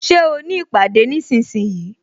Ṣé o ní ìpàdé nísinsìnyí?